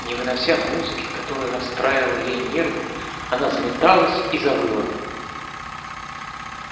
не вынося музыки которая расстраивала ей нервы она заметалась и завыла